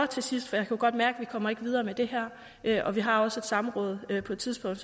til sidst for jeg kan godt mærke vi kommer videre med det her og vi har også et samråd på et tidspunkt